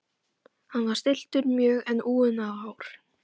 Hann var stilltur mjög en úfinn á hár.